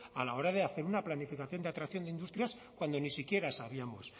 a la hora de hacer una planificación de atracción de industrias cuando ni siquiera sabíamos